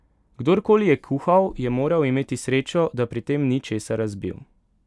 Kdorkoli je kuhal, je moral imeti srečo, da pri tem ni česa razbil.